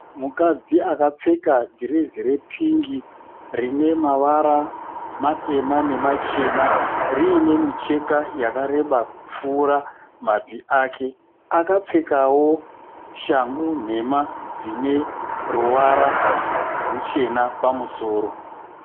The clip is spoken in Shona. Mukadzi akapfeka dhirezi repingi rine mavara matema nemachena rine micheka yakareba kupfuura mabvi ake. Akapfekawo shangu nhema dzine ruvara ruchena pamusoro.